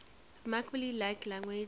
remarkably like language